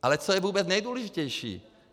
Ale co je vůbec nejdůležitější.